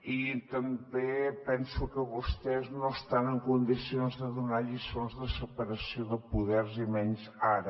i també penso que vostès no estan en condicions de donar lliçons de separació de poders i menys ara